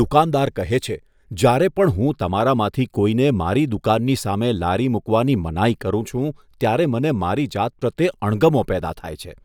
દુકાનદાર કહે છે, જ્યારે પણ હું તમારામાંથી કોઈને મારી દુકાનની સામે લારી મૂકવાની મનાઈ કરું છું, ત્યારે મને મારી જાત પ્રત્યે અણગમો પેદા થાય છે.